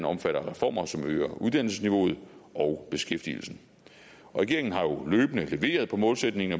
omfatter reformer som øger uddannelsesniveauet og beskæftigelsen regeringen har jo løbende leveret på målsætningen